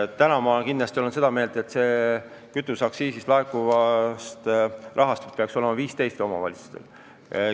Täna ma olen seda meelt, et kütuseaktsiisist laekuvast rahast peaks 15% minema omavalitsustele.